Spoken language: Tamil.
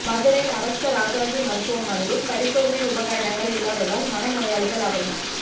மதுரை அரசு ராஜாஜி மருத்துவமனையில் பரிசோதனை உபகரணங்கள் இல்லாததால் மனநோயாளிகள் அவதி